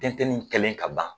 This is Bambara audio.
Tɛn Tɛn ni kelen ka ban